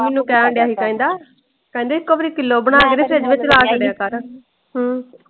ਮੈਨੂੰ ਕਹਿਣ ਡੇਆ ਸੀ ਕਹਿੰਦਾ ਕਹਿੰਦਾ ਇੱਕੋ ਵਾਰੀ ਕਿੱਲੋ ਬਣਾ ਕੇ ਤੇ ਫਰਿੱਜ ਚ ਰੱਖ ਦਿਆਂ ਕਰ।